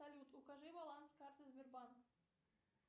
салют укажи баланс карты сбербанк